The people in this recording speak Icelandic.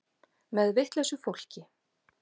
Með vitlausu fólki.